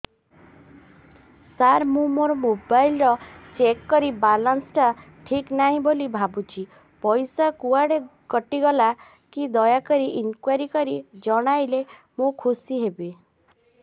ସାର ମୁଁ ମୋର mobile check କଲି ବାଲାନ୍ସ ଟା ଠିକ ନାହିଁ ବୋଲି ଭାବୁଛି ପଇସା କୁଆଡେ କଟି ଗଲା କି ଦୟାକରି ଇନକ୍ୱାରି କରି ଜଣାଇଲେ ମୁଁ ଖୁସି ହେବି